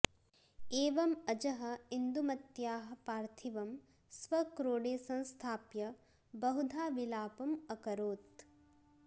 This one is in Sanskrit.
एवम् अजः इन्दुमत्याः पार्थिवं स्वक्रोडे संस्थाप्य बहुधा विपालम् अकरोत्